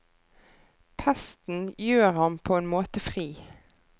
Pesten gjør ham på en måte fri.